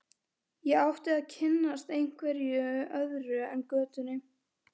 Ég átti að kynnast einhverju öðru en götunni.